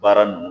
Baara nunnu